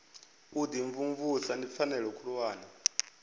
u imvumvusa ndi pfanelo khulwane